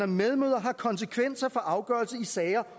medmødre har konsekvenser for afgørelser i sager